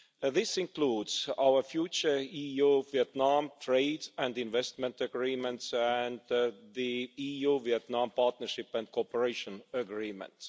This includes our future EU-Vietnam trade and investment agreements and the EU Vietnam Partnership and Cooperation Agreements.